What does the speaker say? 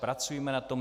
Pracujme na tom.